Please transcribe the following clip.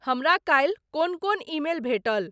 हमरा काल्हि कोन कोन ईमेल भेटल?